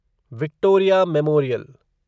Victoria memorial